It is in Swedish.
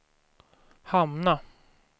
hamna